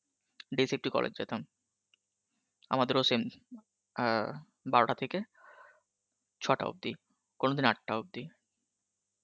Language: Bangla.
day shift এ college যেতাম, আমাদের ও same আ বারোটা থেকে ছটা অব্দি কোনদিন আঠ্টা অব্দি